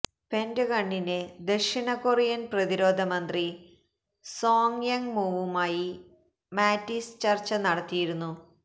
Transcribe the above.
പെന്റഗണില് ദക്ഷിണകൊറിയന് പ്രതിരോധ മന്ത്രി സോങ് യങ് മൂവുമായി മാറ്റിസ് ചര്ച്ച നടത്തിയിരുന്നു